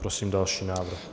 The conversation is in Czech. Prosím další návrh.